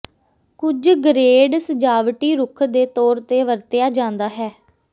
ਕੁਝ ਗ੍ਰੇਡ ਸਜਾਵਟੀ ਰੁੱਖ ਦੇ ਤੌਰ ਤੇ ਵਰਤਿਆ ਜਾਦਾ ਹੈ